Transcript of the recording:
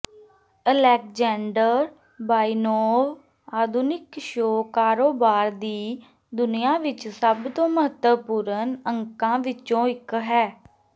Alexander Baynov ਆਧੁਨਿਕ show ਕਾਰੋਬਾਰ ਦੀ ਦੁਨੀਆ ਵਿੱਚ ਸਭ ਤੋਂ ਮਹੱਤਵਪੂਰਨ ਅੰਕਾਂ ਵਿੱਚੋਂ ਇੱਕ ਹੈ